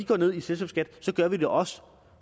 går ned i selskabsskat så gør vi det også